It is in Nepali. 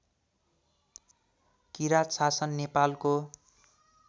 किराँत शासन नेपालको